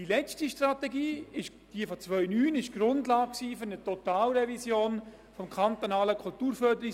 Die letzte Strategie bildete die Grundlage für eine Totalrevision des KKFG.